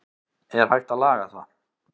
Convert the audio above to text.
er hægt að laga það